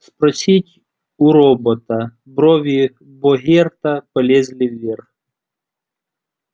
спросить у робота брови богерта полезли вверх